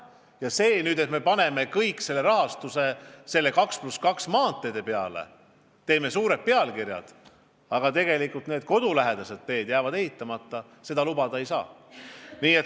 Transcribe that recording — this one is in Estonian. Ja seda, et me paneme kogu rahastuse nende 2 + 2 maanteede peale, teeme suured pealkirjad, aga samas kodulähedased teed jäävad ehitamata, lubada ei saa.